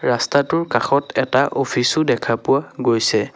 ৰাস্তাটোৰ কাষত এটা অফিচ ও দেখা পোৱা গৈছে।